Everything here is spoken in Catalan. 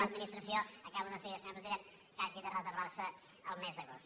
l’administració acabo de seguida senyor president que hagi de reservar se el mes d’agost